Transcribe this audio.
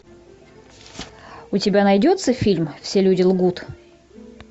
у тебя найдется фильм все люди лгут